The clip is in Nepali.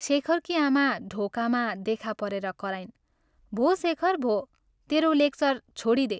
शेखरकी आमा ढोकामा देखा परेर कराइन् " भो शेखर भो, तेरो लेक्चर छोडिदे।